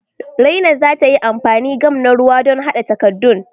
Raina za ta yi amfani gam na ruwa don haɗa takaddun.